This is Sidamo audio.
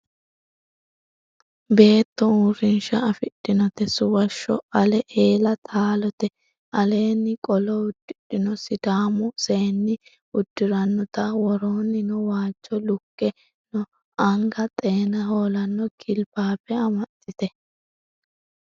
Beetto uurrinsha afidhinote suwasho ale eella taalote aleeni qolo uddidhino sidaamu seenni uddiranotta woroonino waajo lukke no anga xeena holano gilbabe amaxite.